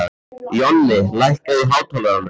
Jonni, lækkaðu í hátalaranum.